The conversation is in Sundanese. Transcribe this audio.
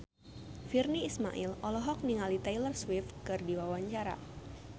Virnie Ismail olohok ningali Taylor Swift keur diwawancara